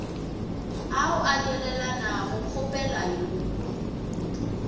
ao a nyalelanago kgopela yo